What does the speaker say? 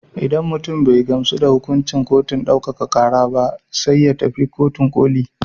Idan mutum bai gamsu da hukuncin kotun ɗaukaka ƙara ba sai ya tafi kotun ƙoli.